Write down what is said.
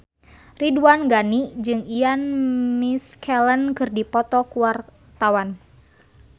Ridwan Ghani jeung Ian McKellen keur dipoto ku wartawan